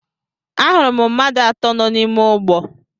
Ahụrụ m mmadụ atọ nọ n'ime ụgbọ.